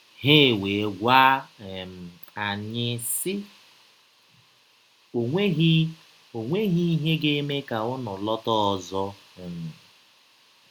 Ha ewee gwa um anyị, sị: “ Ọ nweghị Ọ nweghị ihe ga - eme ka ụnụ lọta ọzọ. um ”